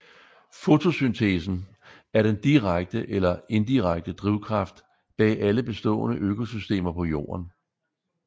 Fotosyntesen er den direkte eller indirekte drivkraft bag alle bestående økosystemer på Jorden